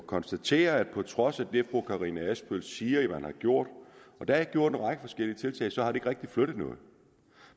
konstatere at på trods af det fru karina adsbøl siger at man har gjort og der er jo gjort en række forskellige tiltag så har det ikke rigtig flyttet noget